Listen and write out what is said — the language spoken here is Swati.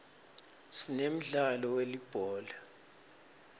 sinemdlalo welibhola